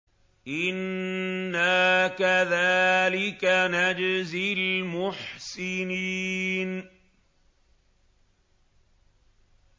إِنَّا كَذَٰلِكَ نَجْزِي الْمُحْسِنِينَ